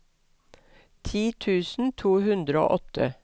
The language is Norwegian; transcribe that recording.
ti tusen to hundre og åtte